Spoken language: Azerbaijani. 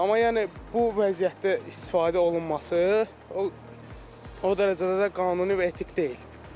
Amma yəni bu vəziyyətdə istifadə olunması o dərəcədə də qanuni və etik deyil.